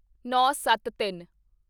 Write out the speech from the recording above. ਨੌਂਸੱਤਤਿੰਨ